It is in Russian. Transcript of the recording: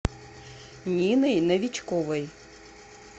ниной новичковой